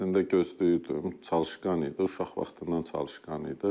Əslində gözləyirdim, çalışqan idi, uşaq vaxtından çalışqan idi.